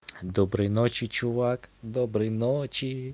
доброй ночи чувак доброй ночи